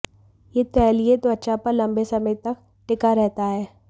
ये तैलीय त्वचा पर लंबे समय तक टिका रहता है